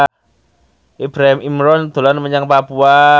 Ibrahim Imran dolan menyang Papua